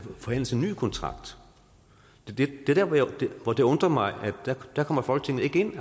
forhandles en ny kontrakt og det er der hvor det undrer mig at folketinget ikke